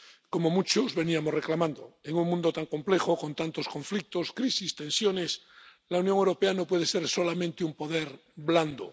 Como muchos veníamos reclamando en un mundo tan complejo, con tantos conflictos, crisis, tensiones, la Unión Europea no puede ser solamente un poder blando.